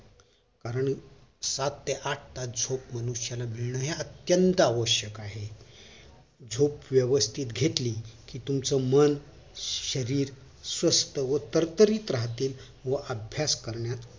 कारण सात ते आठ तास झोप हे मनुष्याला मिळणं हे अत्यंत आवश्यक आहे झोप व्यवस्थित घेतली कि तुमचं मन शरीर स्वस्थ व तरतरीत राहत व अभ्यास करण्यास